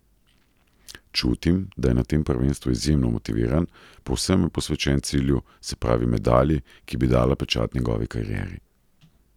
Čutim, da je na tem prvenstvu izjemno motiviran, povsem je posvečen cilju, se pravi medalji, ki bi dala pečat njegovi karieri.